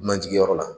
Dunanjigiyɔrɔ la